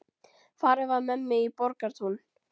Farið var með mig í Borgartún.